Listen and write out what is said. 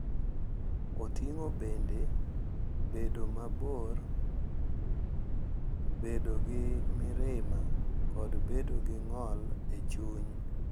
Oting’o bende bedo mabor, bedo gi mirima, kod bedo gi ng’ol e chuny.